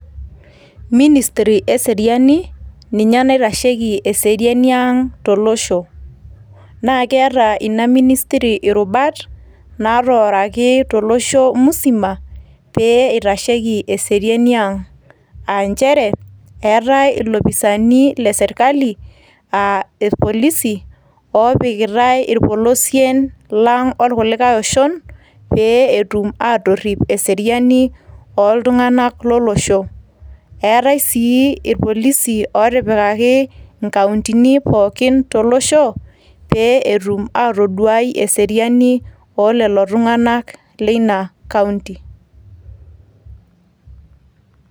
Ministry e seriani, ninye naitasheki eseriani ang to losho, naa keeta ina ministry irrubat natooroki to losho musima pee eitasheki eseriani ang, aa nchere eetae ilopisaani le sirkali aa irpolisi oopikitai irpolosien lang orkulikae oshon pee etum aatorrip eseriani oo iltung`anak lo losho. Eetae sii irpolisi ootipikaki nkauntini pooki to losho pee etum atoduai eseriani oo lelo tung`anak leina kaunti.